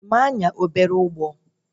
Ị ma anya obele ụgbọ?